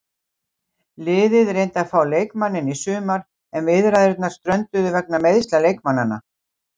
Liðið reyndi að fá leikmanninn í sumar en viðræðurnar strönduðu vegna meiðsla leikmannanna.